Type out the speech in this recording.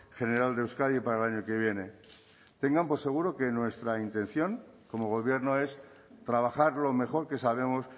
general de euskadi para el año que viene tengan por seguro que nuestra intención como gobierno es trabajar lo mejor que sabemos